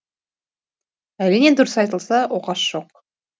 әрине дұрыс айтылса оқасы жоқ